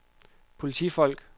politifolk